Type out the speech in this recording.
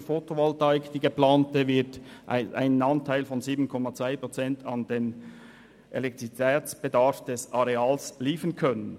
Die geplante Fotovoltaik wird einen Anteil von 7,2 Prozent an den Elektrizitätsbedarf des Areals liefern können.